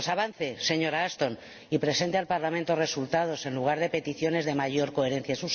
Pues avance, señora Ashton, y presente al Parlamento resultados en lugar de peticiones de mayor coherencia.